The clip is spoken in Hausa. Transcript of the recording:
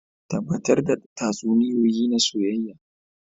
Tabbatar da tatsuniyoyi na soyayya